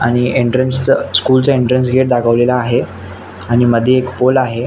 आणि एंट्रन्स च स्कुल च एंट्रन्स गेट दाखवलेल आहे आणि मधे एक पोल आहे.